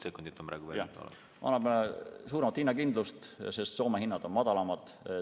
See annaks suuremat hinnakindlust, sest Soome hinnad on madalamad.